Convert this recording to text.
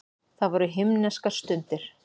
Það voru himneskar stundir.